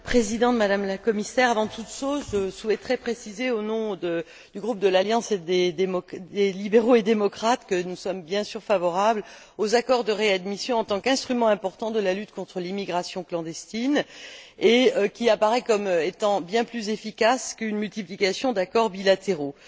Madame la Présidente, Madame la Commissaire, avant toute chose, je souhaiterais préciser, au nom du groupe de l'Alliance des libéraux et démocrates, que nous sommes bien sûr favorables aux accords de réadmission en tant qu'instruments importants de la lutte contre l'immigration clandestine, et qui apparaissent comme étant bien plus efficaces qu'une multiplication d'accords bilatéraux.